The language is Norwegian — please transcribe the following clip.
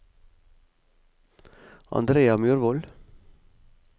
Andrea Myrvold